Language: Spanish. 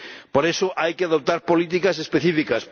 Por eso hay que adoptar políticas específicas.